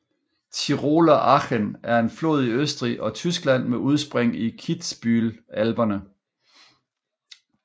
Tiroler Achen er en flod i Østrig og Tyskland med udspring i Kitzbühel Alperne